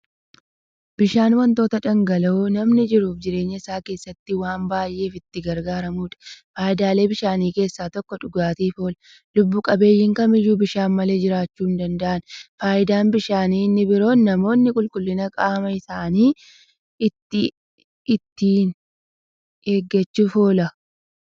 Bishaan wanta dhangala'oo namni jiruuf jireenya isaa keessatti waan baay'eef itti gargaaramuudha. Faayidaalee bishaanii keessaa tokko dhugaatiif oola. Lubbuu qabeeyyiin kamiyyuu bishaan malee jiraachuu hindanda'an. Faayidaan bishaanii inni biroon, namoonni qulqullina qaama isaanii ittiin eegachuuf oola.